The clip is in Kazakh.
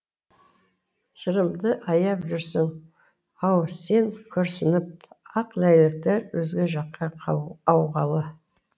жырымды аяп жүрсің ау сен күрсініп ақ ләйлектер өзге жаққа ауғалы